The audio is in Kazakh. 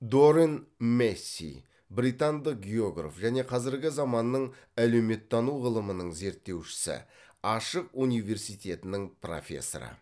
дорин мэсси британдық географ және қазіргі заманның әлеуметтану ғылымының зерттеушісі ашық университетінің профессоры